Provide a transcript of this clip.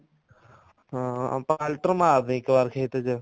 ਹਾਂ ਪਲਟਰ ਮਾਰ ਦੀ ਇੱਕ ਵਾਰੀ ਖੇਤ ਚ